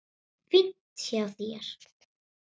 Fínt hjá þér.